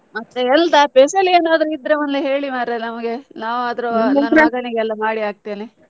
ಮತ್ತೆ ಎಂತ special ಏನಾದ್ರೂ ಇದ್ರೆ ಒಂದು ಹೇಳಿ ಮರ್ರೆ ನಮಗೆ, ನನ್ನ ಮಗನಿಗೆ ಎಲ್ಲ ಮಾಡಿ ಹಾಕ್ತೇನೆ.